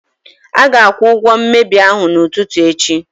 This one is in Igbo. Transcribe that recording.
A ga-akwụ ụgwọ mmebi ahụ n'ụtụtụ echi.